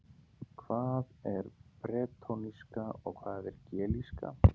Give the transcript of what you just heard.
Hvað er bretónska og hvað er gelíska?